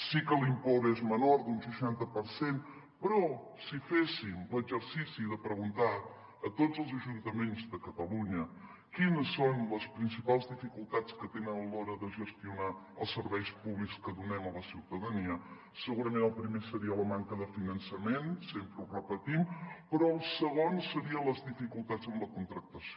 sí que l’import és menor d’un seixanta per cent però si féssim l’exercici de preguntar a tots els ajuntaments de catalunya quines són les principals dificultats que tenen a l’hora de gestionar els serveis públics que donem a la ciutadania segurament el primer seria la manca de finançament sempre ho repetim però el segon serien les dificultats en la contractació